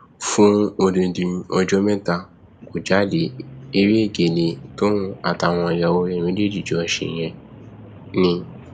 fún odidi ọjọ mẹta kó jáde eré egéle tóun àtàwọn ìyàwó ẹ méjì jọ ṣe yẹn ni